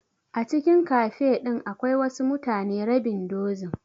A cikin cafe din akwai wasu mutane rabin dozin.